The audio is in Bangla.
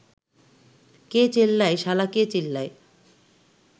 কে চেল্লায় শালা কে চেল্লায়